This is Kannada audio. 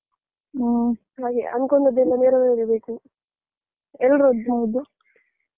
ಹ್ಮ ಸರಿ ಅಂದ್ಕೊಂಡದೆಲ್ಲಾ ನೆರವೆರಬೇಕು ಎಲ್ಲರದ್ದುಹೌದು.